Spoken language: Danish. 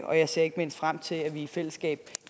og jeg ser ikke mindst frem til at vi i fællesskab